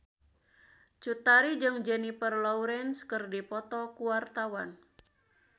Cut Tari jeung Jennifer Lawrence keur dipoto ku wartawan